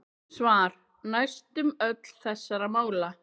Svar: Næstum öll þessara mála